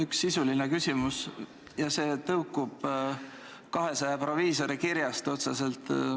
Üks sisuline küsimus, mis tõukub otseselt 200 proviisori kirjast.